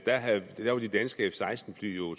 det jo